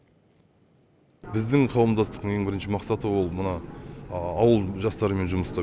біздің қауымдастықтың ең бірінші мақсаты ол мына ауыл жастарымен жұмыс істеу